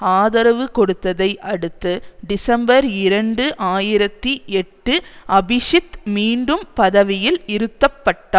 ஆதரவு கொடுத்ததை அடுத்து டிசம்பர் இரண்டு ஆயிரத்தி எட்டு அபிசித் மீண்டும் பதவியில் இருத்தப்பட்டார்